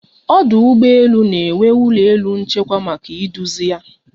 Ọdụ ụgbọ elu na-enwe ụlọ elu nchekwa maka iduzi ya